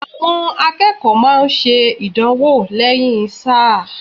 Àwọn akẹ́kọ̀ọ́ máa ń ṣe ìdánwò lẹ́yìn sáà.